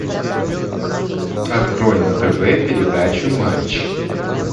открой на тв передачу матч